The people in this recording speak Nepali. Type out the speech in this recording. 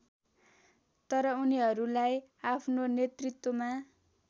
तर उनीहरुलाई आफ्नो नेतृत्वमा